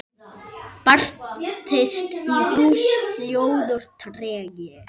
Bærist í húsi hljóður tregi.